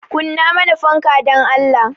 Kunna mana fanka dan Allah